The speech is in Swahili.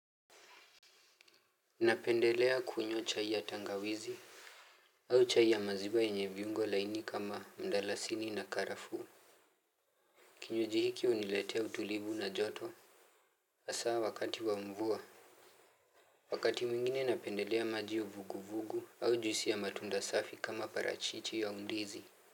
Napendelea kunywa chai ya tangawizi. Au chai ya maziwa yenye viungo laini kama mdalasini na karafuu kinywaji hiki huniletea utulivu na joto. Asaa wakati wa mvua wakati mwingine napendelea maji uvuguvugu au juisi ya matunda safi kama parachichi au ndizi.